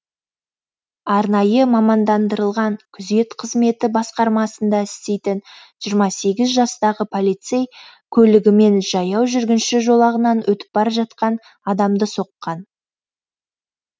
арнайы мамандандырылған күзет қызметі басқармасында істейтін жиырма сегіз жастағы полицей көлігімен жаяу жүргінші жолағынан өтіп бара жатқан адамды соққан